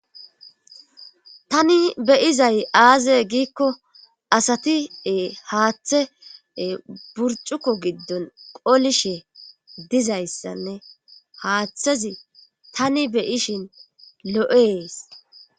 tani beyizay aaze giikko asati haaththe burcuko giddon qolishe dizayssanne haaththezi tani beyishin lo7ees